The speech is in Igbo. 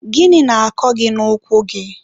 gịnị na-akọ gị n'ụkwụ gị?